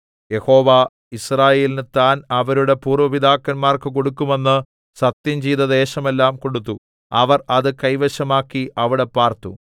യഹോവ യിസ്രായേലിന് താൻ അവരുടെ പൂര്‍വ്വ പിതാക്കന്മാർക്ക് കൊടുക്കുമെന്ന് സത്യംചെയ്ത ദേശമെല്ലാം കൊടുത്തു അവർ അത് കൈവശമാക്കി അവിടെ പാർത്തു